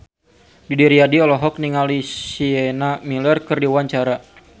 Didi Riyadi olohok ningali Sienna Miller keur diwawancara